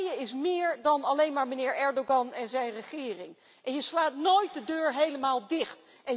Turkije is meer dan alleen maar meneer Erdogan en zijn regering en je slaat nooit de deur helemaal dicht.